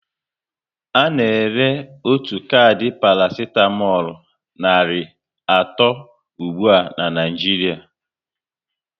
Ana ere otu kardi parasitamolu nari atọ ụgbụa na Naịjiria